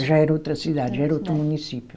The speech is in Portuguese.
Já era outra cidade, já era outro município.